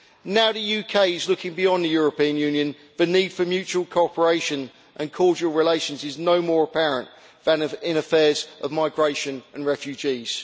Now the UK is looking beyond the European Union, the need for mutual cooperation and cordial relations is nowhere more apparent than in affairs of migration and refugees.